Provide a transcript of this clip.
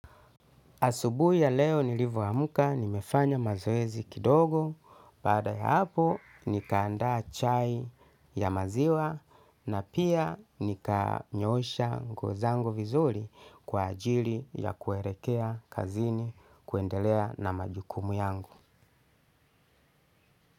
Asubu ya leo nilivo hamuka nimefanya mazoezi kidogo, baada ya hapo nikaanda chai ya maziwa na pia nika nyoosha nguo zangu vizuri kwa ajili ya kuehelekea kazini kuendelea na majukumu yangu.